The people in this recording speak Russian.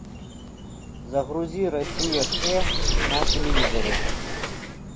загрузи россия к на телевизоре